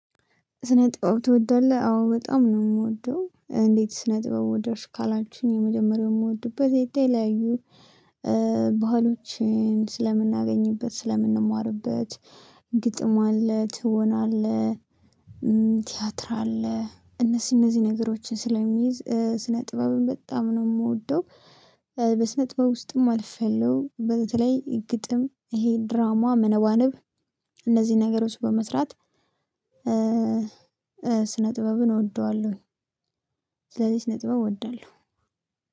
ስነጥብ ትወዳለህ አዎ በጣም ነው። የምወደው እንዴት? ስነጥብ ወደድሽ? ካላችሁኝ የመጀመሪያው የምወድበት የተለያዩ ባህሎችን ስለምናገኝበት ስለምንማርበት ግጥም አለ ትወና አለ። ቲያትር አለ እነሱ እነዚህ ነገሮችን ስለሚይዝ ስነ ጥበብም በጣም ነው የምወደው። በስነ ጥበብ ውስጥም አልፈለውም በተለይ ግጥም ይሄ ድራማ መነባነብ እነዚህ ነገሮች በመስራት። ስነ ጥበብን እወደዋለሁ። ስለዚህ እስነ ጥበብ እወደዋለሁ።